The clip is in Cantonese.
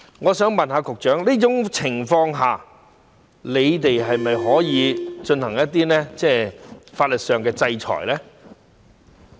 我想問局長，在這種情況下，你們是否可以進行一些法律上的制裁呢？